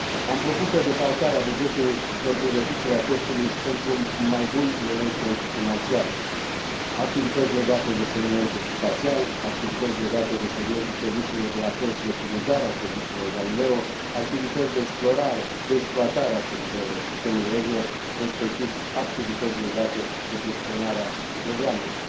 Am propus o defalcare a bugetului pentru reducerea costului și pentru un mai bun management financiar activități legate de segmentul spațial, activități legate de segmentul serviciilor de la sol și de furnizare a serviciilor Galileo, activități de exploatare a sistemului EGNOS, respectiv activități legate de gestionarea programelor.